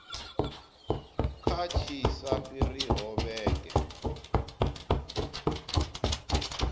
kha tshi sa fhiriho vhege